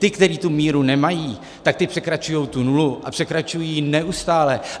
Ti, kteří tu míru nemají, tak ti překračují tu nulu, a překračují ji neustále.